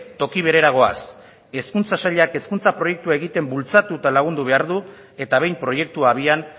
toki berera goaz hezkuntza sailak hezkuntza proiektu egiten bultzatu eta lagundu behar du eta behin proiektu abian